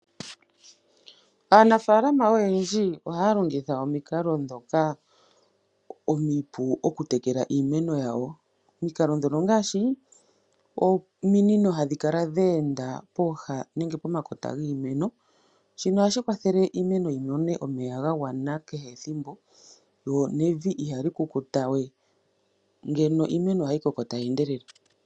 Aanafaalama oyendji ohaya longitha omikalo ndhoka omipu okutekela iimeno yawo. Omikalo ndhono ongaashi ominino hadhi kala dhe enda pooha nenge pomakota giimeno, shino ohashi kwathele iimeno yi mone omeya kehe ethimbo lyo nevi ihali kukuta we. Iimeno ohayi koko tayi endelele.